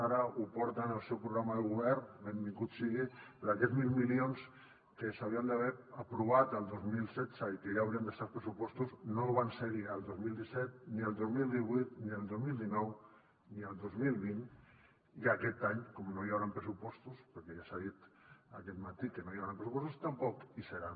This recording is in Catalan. ara ho porta al seu programa de govern benvingut sigui però aquests mil milions que s’haurien d’haver aprovat el dos mil setze i que ja haurien d’estar als pressupostos no van ser hi el dos mil disset ni el dos mil divuit ni el dos mil dinou ni el dos mil vint i aquest any com que no hi hauran pressupostos perquè ja s’ha dit aquest matí que no hi haurà pressupostos tampoc hi seran